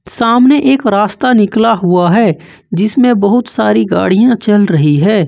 सामने एक रास्ता निकला हुआ है जिसमें बहुत सारी गाड़ियां चल रही है।